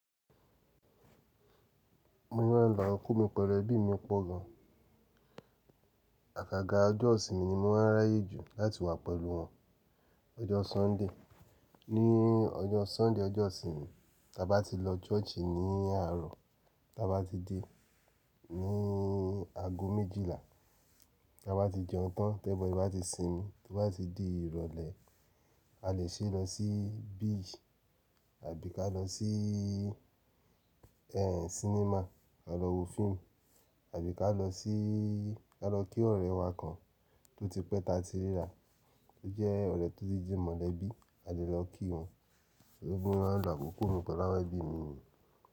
Bí mo ṣe má ń lo àkókò mi pẹ̀lú ẹbí mi pọ̀ gan. Àkàga ọjọ́ ìsinmi ni mo máa ń ráyè jù láti wà pẹ̀lú wọn. Ọjọ́ Sunday, ní ọjọ́ Sunday ọjọ́ ìsinmi, tá bá ti lọ church ní àárọ̀, tá bá ti dé ní ago méjìlá, tá bá ti jẹun tán, tẹ́ everybody bá ti sinmi, tó bá ti di ìrọ̀lẹ́, a lè ṣeré lọ sí beach àbí ká lọ sí ẹ sínímà a lọ wo fíìmù àbí ká lọ sí ká lọ kí ọ̀rẹ́ wa kan tó ti pẹ́ tá ti ríra tó jẹ́ ọ̀rẹ́ tó ti di mọ̀lẹ́bí a lè lọ kí wọn. Bí mo ṣe máa ń lo àkókò mi pẹ̀lú àwọn ẹbí mi ni.